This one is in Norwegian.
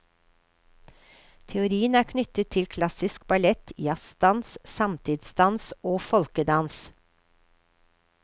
Teorien er knyttet til klassisk ballett, jazzdans, samtidsdans og folkedans.